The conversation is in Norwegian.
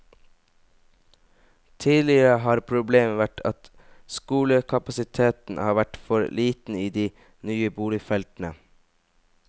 Tidligere har problemet vært at skolekapasiteten har vært for liten i de nye boligfeltene.